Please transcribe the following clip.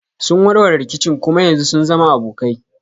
Sun warware rikicin kuma yanzu sun zama abokai.